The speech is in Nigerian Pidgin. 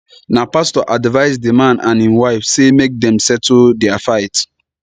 na pastor advise di man and im wife sey make dem settle their fight